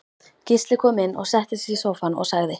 Gísli kom inn settist í sófann og sagði